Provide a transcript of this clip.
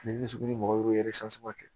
mɔgɔ